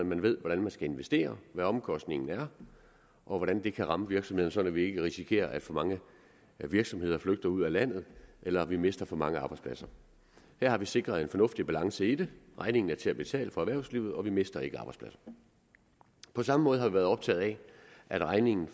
man ved hvordan man skal investere hvad omkostningen er og hvordan det kan ramme virksomheden sådan at vi ikke risikerer at for mange virksomheder flygter ud af landet eller at vi mister for mange arbejdspladser her har vi sikret en fornuftig balance i det regningen er til at betale for erhvervslivet og vi mister ikke arbejdspladser på samme måde har vi været optaget af at regningen